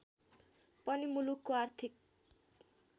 पनि मुलुकको आर्थिक